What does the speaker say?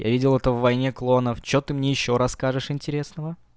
я видел это в войне кланов что ты мне ещё расскажешь интересного